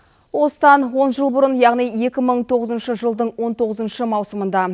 осыдан он жыл бұрын яғни екі мың тоғызыншы жылдың он тоғызыншы маусымында